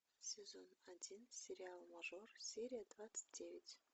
сезон один сериал мажор серия двадцать девять